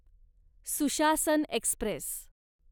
सुशासन एक्स्प्रेस